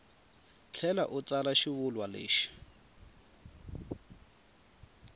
tlhela u tsala xivulwa lexi